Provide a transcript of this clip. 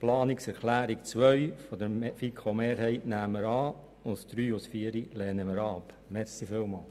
Die Planungserklärung 2 der FiKoMehrheit nehmen wir an, die Planungserklärungen 3 und 4 lehnen wir ab.